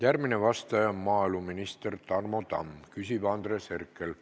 Järgmine vastaja on maaeluminister Tarmo Tamm, küsib Andres Herkel.